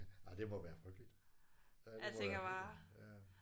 Ej det må være frygteligt. Ja det må være helt ja